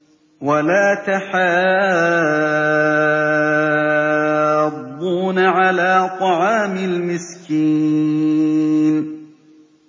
وَلَا تَحَاضُّونَ عَلَىٰ طَعَامِ الْمِسْكِينِ